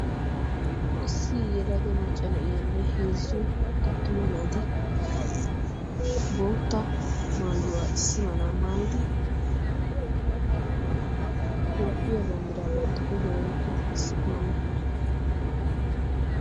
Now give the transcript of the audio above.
Issi yelaga macca na'iyaanne heezzu tattuma naati bootta maayuwaa issi malaa maayidi toophphiyaa banddiraa bantta kushiya aqqidi issippe beettoosona.